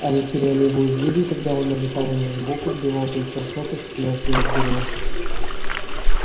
они теряли его из виду и тогда он налетал на них сбоку сбивал плечом с ног и вцеплялся им в горло